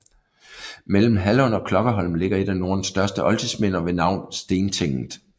Mellem Hallund og Klokkerholm ligger et af Nordens største oldtidsminder ved navn Stentinget